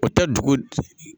U tɛ dugu